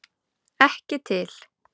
Ekki til!